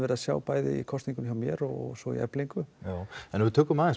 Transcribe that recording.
séð í kosningum hjá mér og svo í Eflingu en ef við tökum aðeins